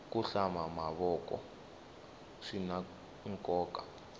ku hlamba mavoko swinankoka